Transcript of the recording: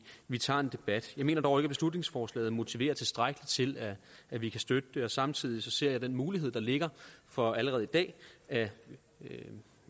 vi tager en debat jeg mener dog ikke at beslutningsforslaget motiverer tilstrækkeligt til at vi kan støtte det og samtidig ser jeg den mulighed der ligger for allerede i dag at